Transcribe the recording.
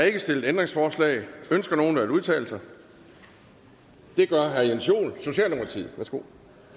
ikke stillet ændringsforslag ønsker nogen at udtale sig det gør herre jens joel socialdemokratiet værsgo